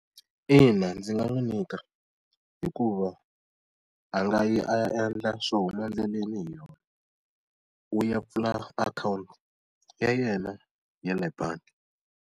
Ina, ndzi nga n'wi nyika hikuva a nga yi a ya endla swo huma endleleni hi yona. U ya pfula akhawunti ya yena yale bangi.